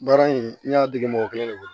Baara in n y'a dege mɔgɔ kelen de bolo